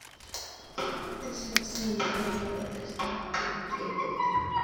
Tesakse logoek ak kotestai kopit ketit